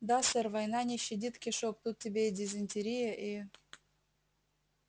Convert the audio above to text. да сэр война не щадит кишок тут тебе и дизентерия и